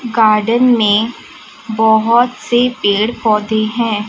Garden में बहोत से पेड़ पौधे हैं।